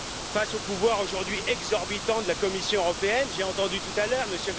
Face au pouvoir aujourd'hui exorbitant de la Commission européenne, j'ai entendu tout à l'heure M.